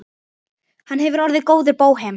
Hann hefði orðið góður bóhem.